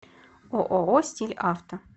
ооо стиль авто